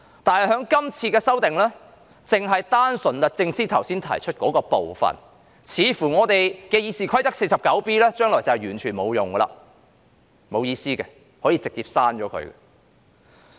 但是，由於《條例草案》賦權律政司司長提起訴訟，所以看來《議事規則》第 49B 條將來毫無意義，可以直接刪除。